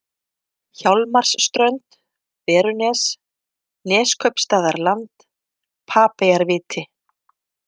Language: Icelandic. Hjálmarsströnd, Berunes, Neskaupstaðarland, Papeyjarviti